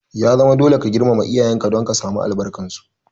Ya zama dole ka girmama iyayen ka don ka samu albarkar su!